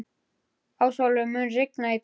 Ásólfur, mun rigna í dag?